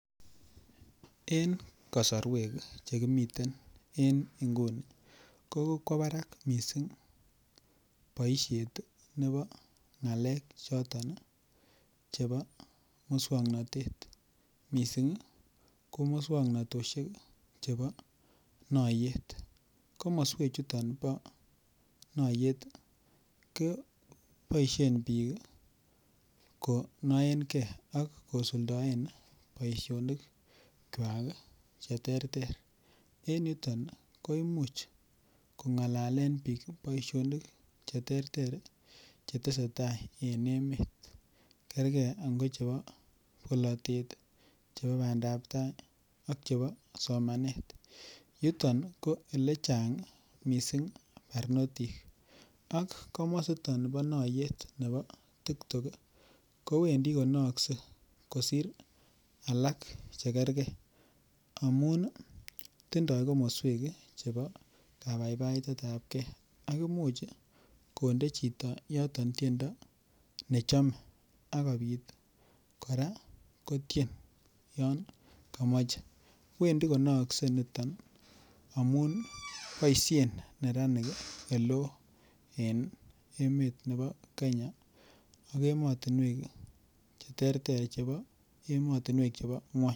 En kasarwek Che kimiten en nguni ko kokwo barak mising boisiet nebo ngalek choton chebo moswoknatet mising ko moswoknatosiek chebo noyeet komoswechuton bo noyeet koboisien bik ko nooen ge ak kosuldaen boisinik kwak Che terter en yuton ko Imuch ko ngalalen bik boisionik Che terter Che tesetai en emet kergei ango chebo bolotet chebo bandap tai ak chebo somanet yuton ko ole chang mising barnotik ak komositon bo naiyeet nebo tik tok kowendi ko naaksei kosir alak Che kergei amun tindoi komoswek chebo kabaibaitet ab ge ak imuch konde chito yoton tiendo nechome ak kobit kora kotien yon komoche wendi konookse niton amun boisien neranik oleo en emetab Kenya ak emotinwek Che terter chebo ngwony